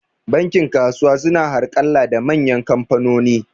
Bankin kasuwa su na harƙalla da manyan kamfanoni